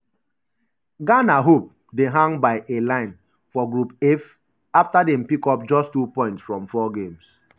ghana hope dey hang by a line for group f afta dem pick up just two points from four games.